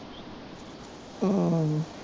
ਹਮ